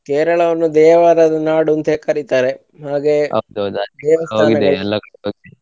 Kerala ವನ್ನು ದೇವಾಲಯದ ನಾಡು ಅಂತ ಕರಿತಾರೆ ಹಾಗೆ .